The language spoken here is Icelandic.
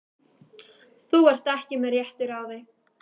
Þú ert ekki með réttu ráði.